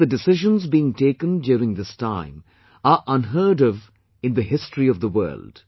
Hence the decisions being taken during this time are unheard of in the history of the world